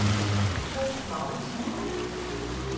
Troels Mouritsen